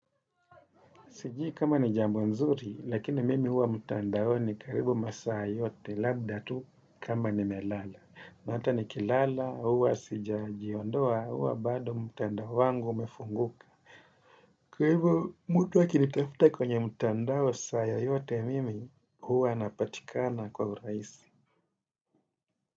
Sijui kama ni jambo nzuri, lakini mimi huwa mtandaoni karibu masaa yote, labda tu kama nimelala. Na hata ni kilala, huwa sija jiondoa, huwa bado mtandao wangu umefunguka. Kwa hivyo, mtu aki ni tafuta kwenye mtandao saa yoyote, mimi huwa napatikana kwa urahisi.